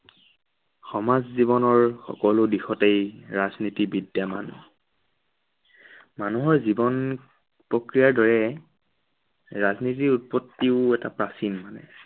সমাজ জীৱনৰ সকলো দিশতেই ৰাজনীতি বিদ্য়ামান। মানুহৰ জীৱন, প্ৰক্ৰিয়াৰ দৰেই ৰাজনীতিৰ উৎপত্তিও এটা প্ৰাচীন মানে।